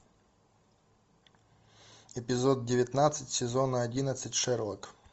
эпизод девятнадцать сезона одиннадцать шерлок